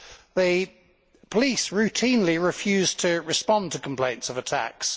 The police routinely refuse to respond to complaints of attacks.